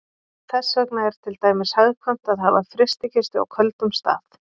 þess vegna er til dæmis hagkvæmt að hafa frystikistu á köldum stað